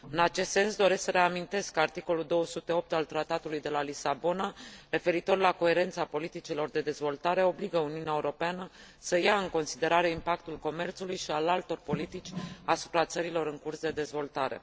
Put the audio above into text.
În acest sens, doresc să reamintesc că articolul 208 din Tratatul de la Lisabona referitor la coerența politicilor de dezvoltare obligă Uniunea Europeană să ia în considerare impactul comerțului și al altor politici asupra țărilor în curs de dezvoltare.